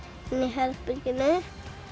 herberginu